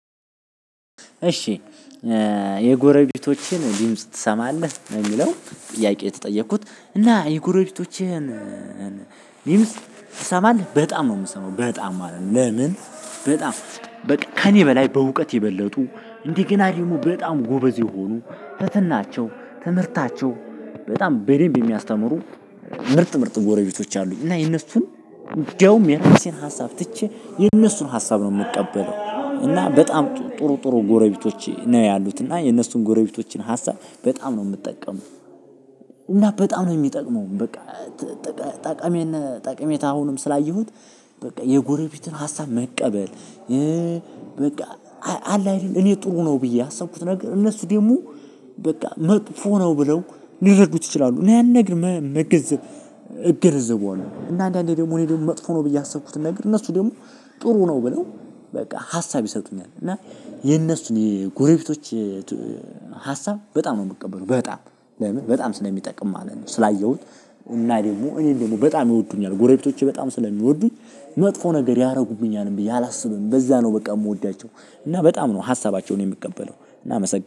እሺ የጎረቤቶቼን ድምጽ ትሰማለህ ነው ሚለው ጥያቄ የተጠየኩት እና የጎረቤቶችህን ድምጽ ትሰማለህ በጣም ነው ምሰማው በጣም ማለት ነው። ለምን? በጣም በቃ ከእኔ በላይ በእውቀት የበለጡ እንደ ገና ደግሞ በጣም ጎበዝ የሆኑ ትትናቸው ትምህርታቸው በጣም በደምብ የሚያስተምሩ ምርጥ ምርጥ ጎረቤቶች አሉኝ። እና የነሱን እንደውም የራሴን ሀሳብ ትቼ የነሱን ሀሳብ ነው ምቀበለው እና በጣም ጥሩ ጥሩ ጎረቤቶች ነው ያሉት እና የነሱን ጎረቤቶችን ሀሳብ በጣም ነው ምጠቀመው። እና በጣም ነው ሚጠቅመው በቃ። ጠቃሜና ጠቀሜታ አሁንም ስላየሁት በቃ የጎረቤትን ሀሳብ መቀበል። በቃ አለ አይደል? እኔ ጥሩ ነው ብዬ ያሰብኩት ነገር እነሱ ደግሞ በቃ መጥፎ ነው ብለው ሊረዱት ይችላሉ እና ያንንነገር መገንዘብ እገነዘበዋለሁ። እና አንዳንዴ ደግሞ እኔ ደግሞ መጥፎ ነው ብዬ ያሰብኩትን ነገር እነሱ ደግሞ ጥሩ ነው ብለው በቃ ሀሳብ ይሰጡኛል። እና የነሱን የጎረቤቶች ሀሳብ በጣም ነው የምቀበለው በጣም ለምን በጣም ስለሚጠቅም ማለት ነው። ስላየሁት እና ደግሞ እኔ ደግሞ በጣም ይወዱኛል ጎረቤቶቼ በጣም ስለሚወዱኝ መጥፎ ነገር ያደርጉብኛልም ብዬ አላስብም። በዛ ነው በቃ ምወዳቸው እና በጣም ነው ሀሳባቸውን የምቀበለው። እናመሰግናለን